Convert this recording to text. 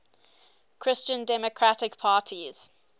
christian democratic parties